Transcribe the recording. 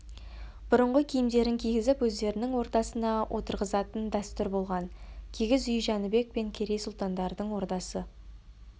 бұрынғы киімдерін кигізіп өздерінің ортасына отырғызатын дәстүр болған кигіз үй жәнібек пен керей сұлтандардың ордасы